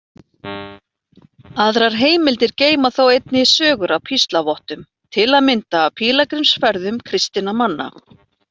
Aðrar heimildir geyma þó einnig sögur af píslarvottum, til að mynda af pílagrímsferðum kristinna manna.